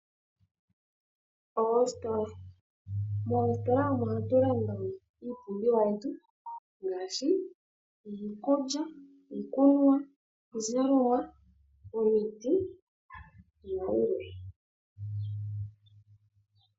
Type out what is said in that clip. Oositola, moositola omo hatulanda iipumbiwa yetu ngaashi, iikulya, iikunwa, iizalomwa, omiti nayilwe.